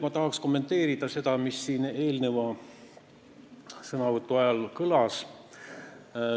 Ma tahaks kommenteerida seda, mis siin eelneva sõnavõtu ajal kõlas.